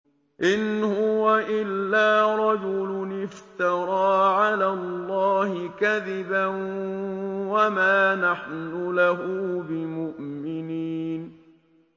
إِنْ هُوَ إِلَّا رَجُلٌ افْتَرَىٰ عَلَى اللَّهِ كَذِبًا وَمَا نَحْنُ لَهُ بِمُؤْمِنِينَ